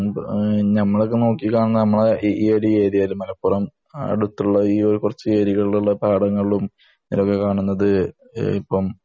നമ്മൾ ഇപ്പം നോക്കികാണുന്നത് നമ്മളെ ഈ ഏരിയയിൽ നമ്മുടെ മലപ്പുറം ഈയടുത്തുള്ള ഏരിയയിൽ ഉള്ള കുറച്ചു പാടങ്ങളിലും പൊതുവെ കാണുന്നത്